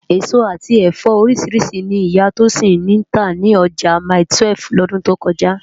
Esó ati ẹfọ óriṣirṣi ni Iyà Tosin ntá ni òjá máitúèf lòdún tó kòjá